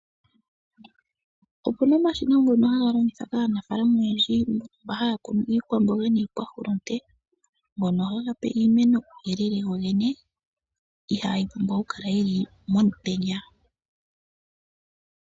Opuna omashina ngono haga longithwa kaanafalama oyendji mba haya kunu iikwamboga niikwahulunde, ngono haga pe iimeno uuyelele gogene, ihaayi pumbwa oku kala yili momutenya.